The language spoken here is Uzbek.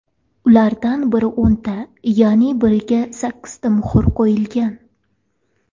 Ulardan biriga o‘nta, yana biriga sakkizta muhr qo‘yilgan.